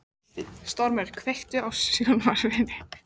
Af hverju er pabbi þinn svona vondur við þig?